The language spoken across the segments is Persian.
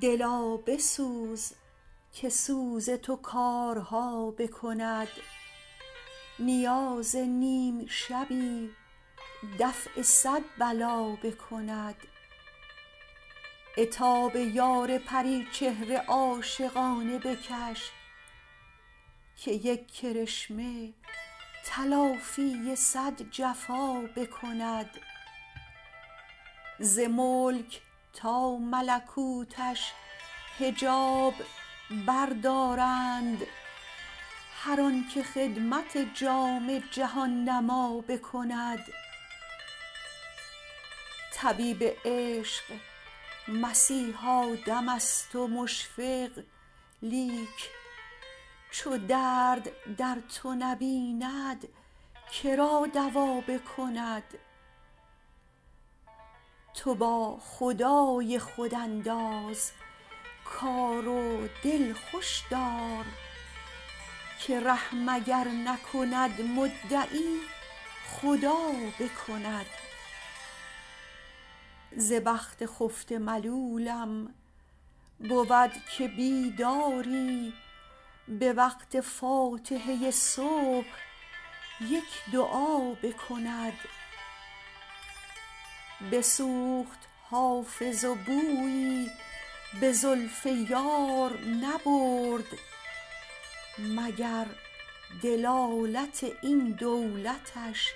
دلا بسوز که سوز تو کارها بکند نیاز نیم شبی دفع صد بلا بکند عتاب یار پری چهره عاشقانه بکش که یک کرشمه تلافی صد جفا بکند ز ملک تا ملکوتش حجاب بردارند هر آن که خدمت جام جهان نما بکند طبیب عشق مسیحا دم است و مشفق لیک چو درد در تو نبیند که را دوا بکند تو با خدای خود انداز کار و دل خوش دار که رحم اگر نکند مدعی خدا بکند ز بخت خفته ملولم بود که بیداری به وقت فاتحه صبح یک دعا بکند بسوخت حافظ و بویی به زلف یار نبرد مگر دلالت این دولتش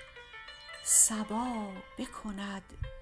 صبا بکند